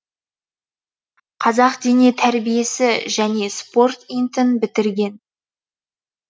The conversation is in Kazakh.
қазақ дене тәрбиесі және спорт ин тын бітірген